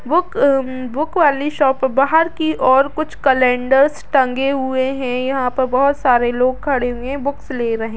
book book वाली shop बाहर की और कुछ कैलेंडर्स टंगे हुए हैं यहाँ पे बहुत सारे लोग खड़े हुए हैं बुक्स ले रहे --